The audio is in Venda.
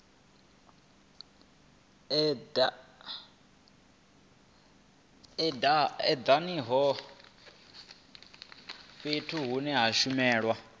edanaho fhethu hune ha shumelwa